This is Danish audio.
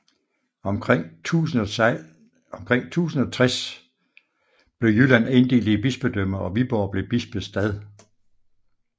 Omkring 1060 blev Jylland inddelt i bispedømmer og Viborg blev bispestad